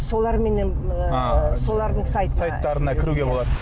соларменен ыыы солардың сайт сайттарына кіруге болады